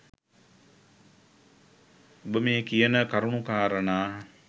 ඔබ මේ කියන කරුණු කාරණා